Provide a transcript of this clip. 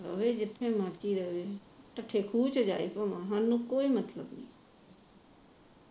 ਤਾਈ ਜੀ ਜਿੱਥੇ ਮਰਜੀ ਰਹੇ ਖੂਹ ਚ ਜਾਵੇ ਸਾਨੂੰ ਕੋਈ ਮਤਲਬ ਨਹੀ